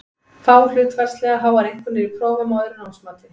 Fá hlutfallslega háar einkunnir í prófum og öðru námsmati.